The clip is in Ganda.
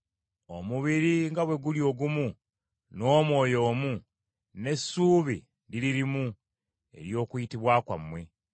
Omubiri nga bwe guli ogumu, n’Omwoyo omu, n’essuubi liri limu ery’okuyitibwa kwammwe.